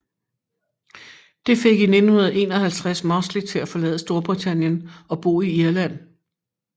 Det fik i 1951 Mosley til at forlade Storbritannien og bo i Irland